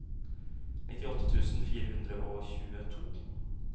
nittiåtte tusen fire hundre og tjueto